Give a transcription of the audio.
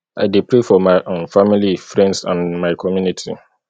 i dey pray for my um family friends and my community